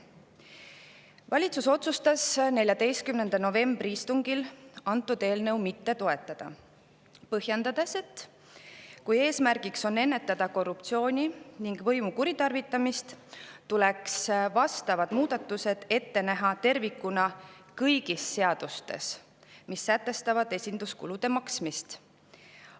Valitsus otsustas 14. novembri istungil antud eelnõu mitte toetada, põhjendades, et kui eesmärgiks on ennetada korruptsiooni ja võimu kuritarvitamist, tuleks vastavad muudatused ette näha tervikuna kõigis seadustes, kus on esinduskulude sätestatud.